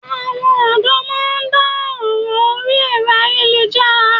Àwọn ọ̀dọ́ má a ndá ọ̀ràn orí ẹ̀rọ ayéluhára